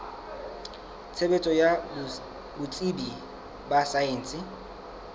tshebetso ya botsebi ba saense